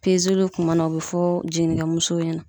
Pezeluw kuma na o be fɔ jiginikɛ musow ɲɛna